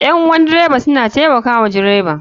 Ƴan uwan dreba suna taimaka wa dreba